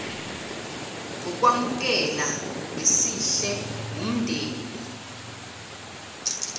ngokwamukela ngesihle wumndeni